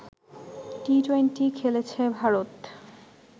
T twenty খেলেছে ভারত